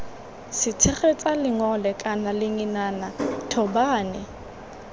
setshegetsa lengole kana lengenana thobane